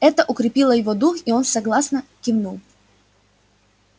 это укрепило его дух и он согласно кивнул